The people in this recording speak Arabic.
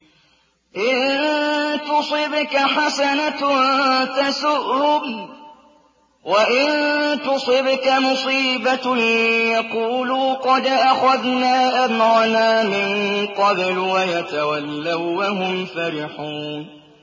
إِن تُصِبْكَ حَسَنَةٌ تَسُؤْهُمْ ۖ وَإِن تُصِبْكَ مُصِيبَةٌ يَقُولُوا قَدْ أَخَذْنَا أَمْرَنَا مِن قَبْلُ وَيَتَوَلَّوا وَّهُمْ فَرِحُونَ